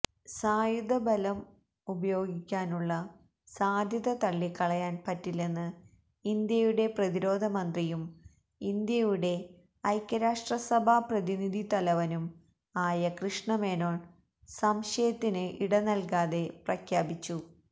സായുധബലം ഉപയോഗിക്കാനുള്ള സാധ്യത തള്ളിക്കളയാൻ പറ്റില്ലെന്ന് ഇന്ത്യയുടെ പ്രതിരോധമന്ത്രിയും ഇന്ത്യയുടെ ഐക്യരാഷ്ട്രസഭാപ്രതിനിധിതലവനും ആയ കൃഷ്ണമേനോൻ സംശയത്തിന് ഇടനൽകാതെ പ്രഖ്യാപിച്ചു